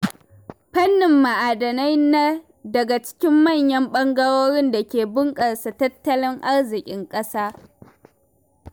Fannin ma'adinai na daga cikin manyan ɓangarorin da ke bunƙasa tattalin arzikin ƙasa.